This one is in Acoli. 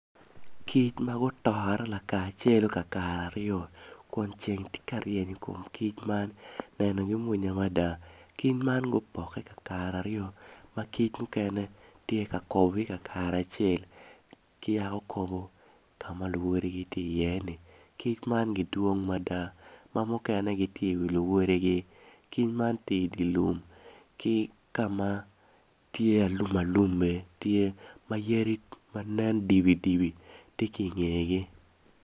Kic ma gutore kakaceu gin aryo kun ceng tye ka ryen i kom kic man nenogi mwonya mada kic man gupokke kakare aryo ma kic mukene tye i kakare acel ki yaka kobo i kamukeneni kic man gidwong mada ma mukene gitye i wi luwodigi kic man tye i dye lum ki kama pinye tye alum aluma tye ma yadi ma nen dibidibi tye ki i ngegi.